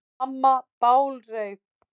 Og mamma bálreið.